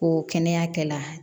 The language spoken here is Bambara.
Ko kɛnɛya kɛla